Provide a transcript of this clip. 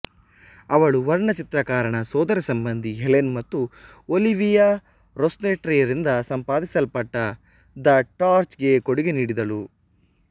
ಅವಳು ವರ್ಣಚಿತ್ರಕಾರನ ಸೋದರ ಸಂಬಂಧಿ ಹೆಲೆನ್ ಮತ್ತು ಒಲಿವಿಯಾ ರೊಸ್ಸೆಟ್ಟಿರಿಂದ ಸಂಪಾದಿಸಲ್ಪಟ್ಟ ದ ಟಾರ್ಚ್ಗೆ ಕೊಡುಗೆ ನೀಡಿದಳು